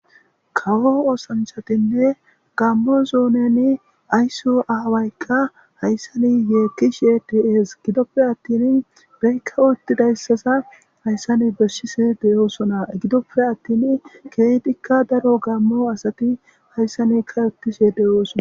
kawo osanchatinne gammo zuuneni aysso aawaykka hayssani yeekishe dies gidoppe attin beykka uttidayssaza hayssani beshshisi de7oosona gidoppe attin keetikka daro gammo asati hayssanika yotishe de7oosona